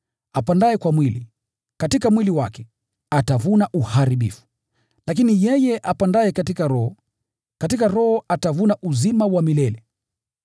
Apandaye kwa mwili, katika mwili wake atavuna uharibifu, lakini yeye apandaye katika Roho, katika Roho atavuna uzima wa milele.